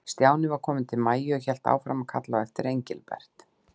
Stjáni var kominn til Maju, en hélt áfram að kalla á eftir Engilbert.